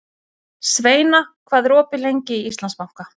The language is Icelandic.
Sveina, hvað er opið lengi í Íslandsbanka?